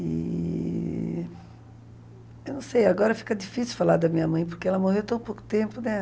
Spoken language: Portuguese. E... Eu não sei, agora fica difícil falar da minha mãe, porque ela morreu tão pouco tempo, né?